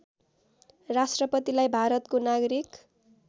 राष्‍ट्रपतिलाई भारतको नागरिक